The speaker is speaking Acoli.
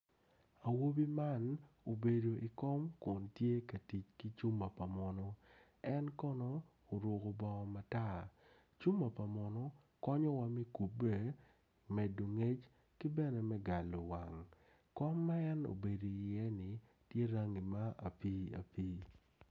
Awobi man obedo i wi kom kun tye ka tic ki cuma pa muno en kono oruko bongo matar cuma pa muno konyowa me kubbe medo ngec ki bene me galo wang kom en obedo iyeni tye rangi ma obedo apiiapii.